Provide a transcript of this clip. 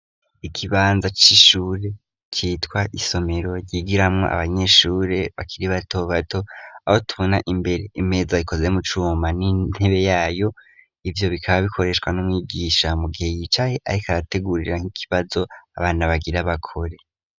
Ikibanza c'ishure citwa isomero ryigiramwo abanyeshure bakiri bato bato, aho tubona imbere imeza ikoze mu cuma n'intebe yayo, ivyo bikaba bikoreshwa n'umwigisha mu gihe yicaye ariko arategurira nk'ikibazo abana bagira bakore.